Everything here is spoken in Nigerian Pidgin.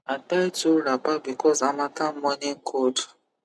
i tie two wrapper because harmattan morning cold